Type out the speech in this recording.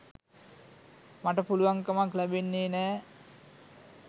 මට පුළුවන් කමක් ලැබෙන්නේ නෑ.